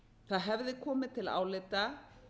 það hefði komið til álita